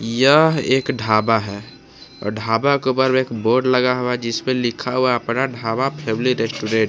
यह एक ढाबा है और ढाबा के ऊपर में एक बोर्ड लगा हुआ जिसमें लिखा हुआ अपना ढाबा फैमिली रेस्टोरेंट ।